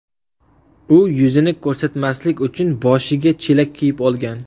U yuzini ko‘rsatmaslik uchun boshiga chelak kiyib olgan.